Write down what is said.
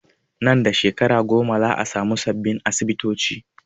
Nan da shekaru goma za a samu sabbin asibitoci